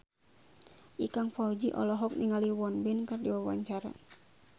Ikang Fawzi olohok ningali Won Bin keur diwawancara